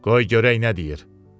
Qoy görək nə deyir.